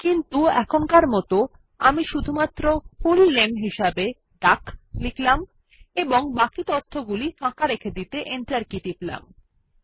কিন্তু এখনকার মত আমি শুধুমাত্র ফুল নামে হিসাবে ডাক লিখব এবং বাকি তথ্যগুলি ফাঁকা রেখে দিতে এন্টার কী টিপব